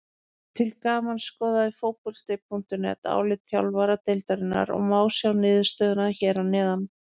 Til gamans skoðaði Fótbolti.net álit þjálfara deildarinnar og má sjá niðurstöðuna hér að neðan.